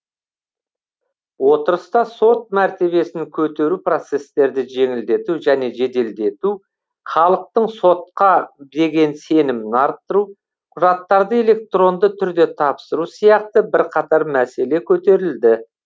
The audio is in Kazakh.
отырыста сот мәртебесін көтеру процестерді жеңілдету және жеделдету халықтың сотқа деген сенімін арттыру құжаттарды электронды түрде тапсыру сияқты бірқатар мәселе көтерілді